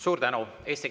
Suur tänu!